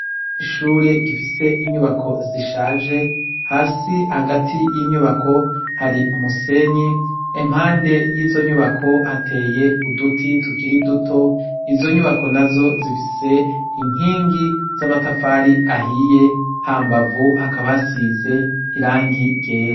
Ishure rifise inyubako zishaje, hasi hagati y'inyubako hari umusenyi, impande yizo nyubako hateye uduti tukiri duto, izo nyubako nazo zifise inkingi z'amatafari ahiye, hambavu hakaba hasize irangi ryera.